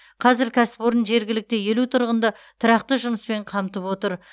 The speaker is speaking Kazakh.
қазір кәсіпорын жергілікті елу тұрғынды тұрақты жұмыспен қамтып отыр